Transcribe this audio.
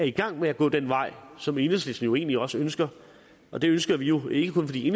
i gang med at gå den vej som enhedslisten jo egentlig også ønsker og det ønsker vi jo ikke kun fordi